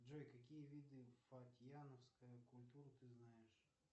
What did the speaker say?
джой какие виды фатьяновская культура ты знаешь